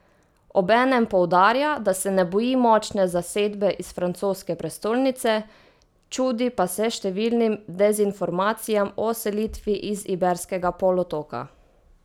Obenem poudarja, da se ne boji močne zasedbe iz francoske prestolnice, čudi pa se številnim dezinformacijam o selitvi iz Iberskega polotoka.